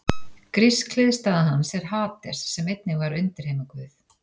Grísk hliðstæða hans er Hades sem einnig var undirheimaguð.